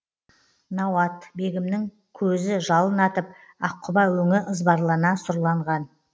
науат бегімнің көзі жалын атып аққұба өңі ызбарлана сұрланған